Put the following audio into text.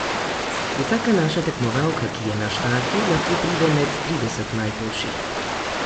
Vsaka naša tekmovalka, ki je na štartu, lahko pride med trideset najboljših.